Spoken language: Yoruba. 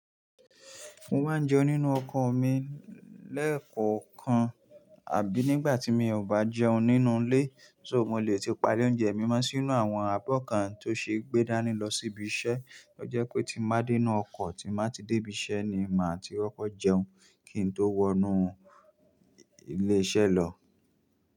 Mo máa ń jẹun nínú ọkọ̀ mi lẹ́ẹ̀kan nkan àbí nígbà tí mi ò bá jẹun nínú ilé, so mo lè ti palẹ̀ oúnjẹ mi mọ́ sínú àwọn abọ́ kan tó ṣe é gbé dání lọ síbi iṣẹ́. Ó jẹ́ pé tí mo bá dínú ọkọ̀ tí má ti dé ibi iṣẹ́ ni máa ti koko jẹun kí n tó wọnú iléeṣẹ́ lọ.